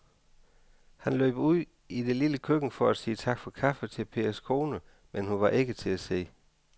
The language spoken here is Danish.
Han løb ud i det lille køkken for at sige tak for kaffe til Pers kone, men hun var ikke til at se.